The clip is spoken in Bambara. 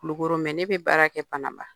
Kulukoro ne be baara kɛ Bananba.